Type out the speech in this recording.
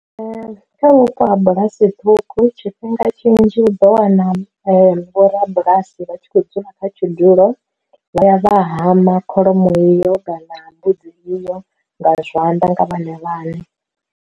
Kha vhupo ha bulasi ṱhukhu tshifhinga tshinzhi u ḓo wana vho ra bulasi vha tshi khou dzula kha tshidulo, vha ya vha hama kholomo iyo kana mbudzi iyo nga zwanḓa nga vhone vhane.